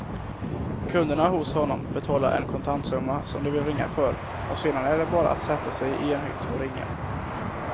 Kunderna hos honom betalar en kontantsumma som de vill ringa för och sedan är det bara att sätta sig i en hytt och ringa.